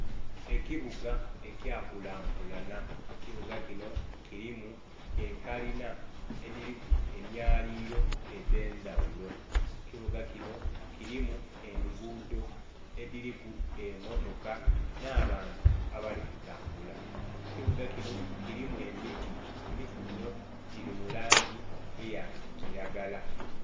Ekibuga ekikula nkulanha, ekibuga kinho kilimu ekalinha edhiliku emyalililo edhe ndhaghulo, kibuga kinho kilimu engudho edhiliku emmotoka nh'abantu abali kutambula. Ekibuga kinho kilimu emiti, emiti ginho gili mulangi eya kilagala.